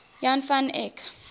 jan van eyck